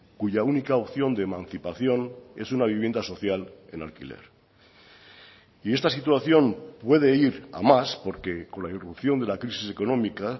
cuya única opción de emancipación es una vivienda social en alquiler y esta situación puede ir a más porque con la irrupción de la crisis económica